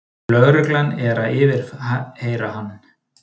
Lögregla er að yfirheyra hann